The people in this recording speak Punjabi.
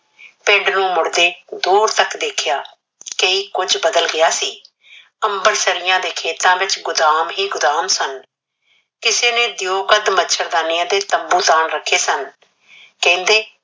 ਪਿੰਡ ਨੂੰ ਮੁੜਦੇ ਦੂਰ ਤੱਕ ਦੇਖਿਆ। ਕਈ ਕੁਝ ਬਦਲ ਗਿਆ ਸੀ, ਅੰਬਰਸਰੀਆਂ ਦੇ ਖੇਤਾਂ ਵਿਚ ਗੁਦਾਮ ਹੀ ਗੁਦਾਮ ਸਨ। ਕਿਸੇ ਨੇ ਦਿਓ ਕੱਦ ਮੱਛਰਦਾਨੀਆਂ ਤੇ ਤੰਬੂ ਤਾਣ ਰੱਖੇ ਸਨ। ਕਹਿੰਦੇ